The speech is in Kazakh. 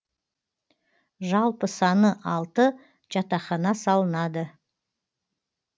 жалпы саны алты жатақхана салынады